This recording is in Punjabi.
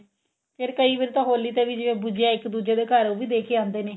ਫੇਰ ਕਈ ਵਾਰੀ ਤਾਂ ਹੋਲੀ ਤੇ ਵੀ ਜਿਵੇਂ ਗੁਜੀਆ ਇੱਕ ਦੁੱਜੇ ਦੇ ਘਰ ਉਹ ਵੀ ਦੇਕੇ ਆਉਂਦੇ ਨੇ